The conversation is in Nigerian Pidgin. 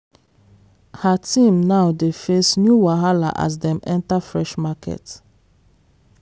her team now dey face new wahala as dem enter fresh market.